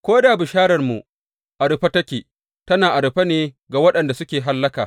Ko da bishararmu a rufe take, tana a rufe ne ga waɗanda suke hallaka.